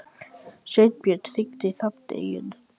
Steinbjörn, hringdu í Hrafneyju.